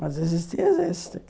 Mas existir, existe.